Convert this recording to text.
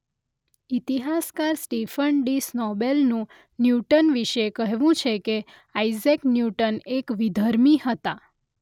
ઇતિહાસકાર Stephen D સ્નોબેલેનનું Newton વિશે કહેવું છે કે આઇઝેક ન્યૂટન એક વિધર્મી હતા.